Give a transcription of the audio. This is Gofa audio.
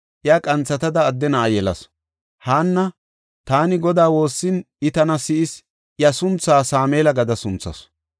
Iya qanthatada adde na7a yelasu. Haanna, “Taani Godaa woossin I tana si7is” gada iya sunthaa Sameela sunthasu.